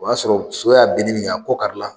O y'a sɔrɔ so y'a binni min kɛ a kɔ kari la,